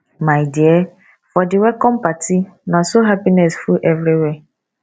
my dear for di welcome party na so happiness full everywhere